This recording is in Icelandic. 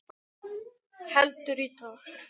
Heldur, í dag!